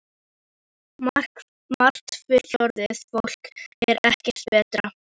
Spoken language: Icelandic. Margt fullorðið fólk er ekkert betra.